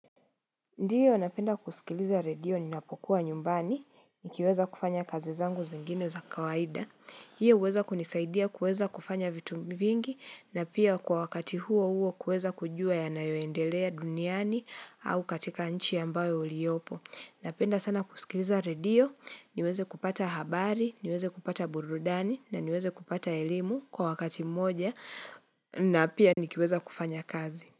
Ndiyo, napenda kusikiliza redio ninapokuwa nyumbani, nikiweza kufanya kazi zangu zingine za kawaida. Hiyo, huweza kunisaidia kuweza kufanya vitu vingi, na pia kwa wakati huo huo kuweza kujua yanayoendelea duniani au katika nchi ambayo uliyopo. Napenda sana kusikiliza redio, niweze kupata habari, niweze kupata burudani, na niweze kupata elimu kwa wakati mmoja, na pia nikiweza kufanya kazi.